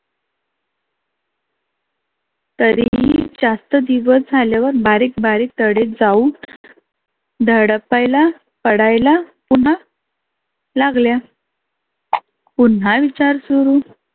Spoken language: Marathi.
तरी जास्त दिवस झाल्यावर बारीक बारीक तढे जाऊ धडपायला पडायला पुन्हा लागल्या. पुन्हा इचार सुरु.